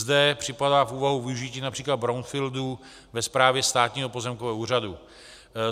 Zde připadá v úvahu využití například brownfieldů ve správě Státního pozemkového úřadu.